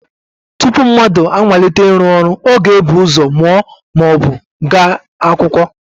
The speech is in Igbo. Tupu mmadụ amalite ịrụ ọrụ ọ ga-ebu ụzọ mụọ ma ọ bụ gaa akwụkwọ